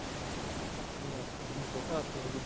business ਵਾਸਤੇ ਜਿਵੇਂ ਛੋਟਾ ਹਾਥੀ ਹੋਗਿਆ